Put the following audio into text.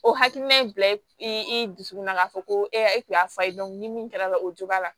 O hakilina in bila i i dusukunna k'a fɔ ko e tun y'a fɔ a ye ni min kɛra la o jo b'a la